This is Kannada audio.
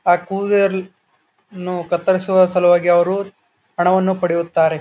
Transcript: ಆ ಕೂದಲನ್ನು ಕತ್ತರಿಸುವ ಸಲುವಾಗಿ ಅವರು ಹಣವನ್ನು ಪಡೆಯುತ್ತಾರೆ.